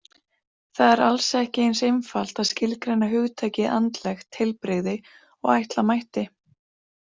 Það er alls ekki eins einfalt að skilgreina hugtakið andlegt heilbrigði og ætla mætti.